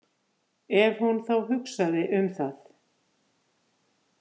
Ef hún þá hugsaði um það.